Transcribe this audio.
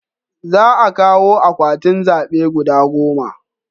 Za a kawo akwatin zabe guda goma